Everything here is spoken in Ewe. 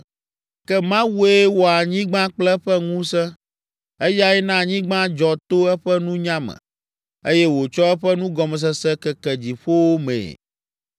Ke Mawue wɔ anyigba kple eƒe ŋusẽ; eyae na anyigba dzɔ to eƒe nunya me, eye wòtsɔ eƒe nugɔmesese keke dziƒowo mee.